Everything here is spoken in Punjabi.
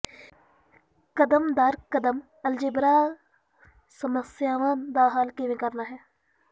ਕਦਮ ਦਰ ਕਦਮ ਅਲਜਬਰਾ ਸਮੱਸਿਆਵਾਂ ਦਾ ਹੱਲ ਕਿਵੇਂ ਕਰਨਾ ਹੈ